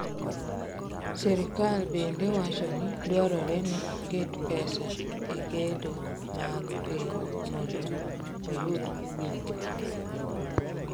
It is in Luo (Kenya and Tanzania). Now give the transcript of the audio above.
Sirkal bende wacho ni dwarore ni oket pesa e gedo mag piny mondo oyud jopur.